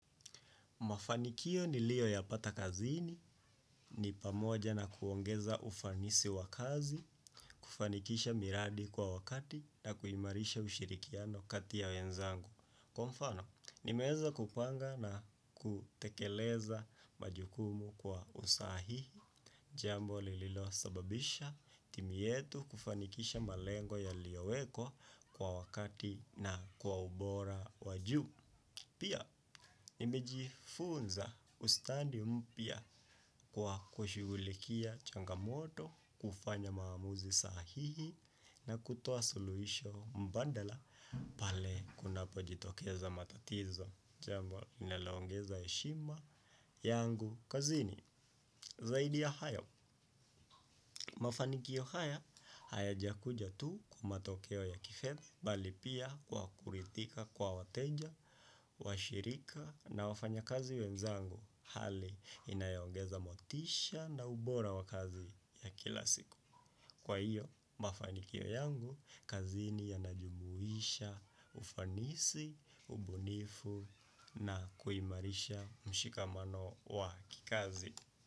Mafanikio nilioyapata kazini, ni pamoja na kuongeza ufanisi wa kazi, kufanikisha miradi kwa wakati na kuimarisha ushirikiano kati ya wenzangu. Kwa mfano, nimeweza kupanga na kutekeleza majukumu kwa usahihi, jambo lililo sababisha timu yetu kufanikisha malengo yaliyowekwa kwa wakati na kwa ubora wajuu. Pia nimejifunza ustandi mpya kwa kushugulikia changamoto, kufanya maamuzi sahihi na kutoa suluhisho mbadala. Pale kunapojitokeza matatizo, jambo linaloongeza heshima yangu kazini. Zaidi ya hayo, mafanikio haya hayajakuja tu kwa matokeo ya kifedha, bali pia kwa kuridhikankwa wateja, washirika na wafanya kazi wenzangu, hali inayoongeza motisha na ubora wa kazi ya kila siku. Kwa hiyo, mafanikio yangu kazini yanajumuisha ufanisi, ubunifu na kuimarisha mshikamano wa kikazi.